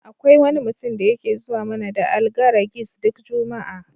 Akwai wani mutum da yake zuwar mana da Algaragis duk juma'a.